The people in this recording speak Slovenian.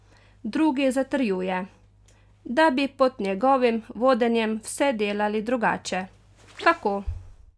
Drugi zatrjuje, da bi pod njegovim vodenjem vse delali drugače: "Kako?